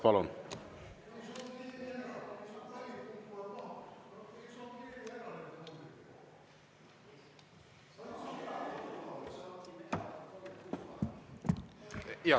Palun!